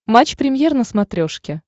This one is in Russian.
матч премьер на смотрешке